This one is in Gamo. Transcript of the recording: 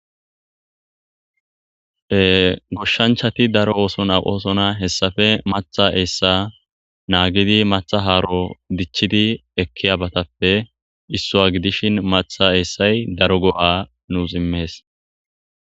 Ea goshshanchati daro ooson aqosona hessafe matha eessa naagidi matha haaro dichchidi ekkiyabatappe issuwa gidishin matha eessay daro go7a nuus immees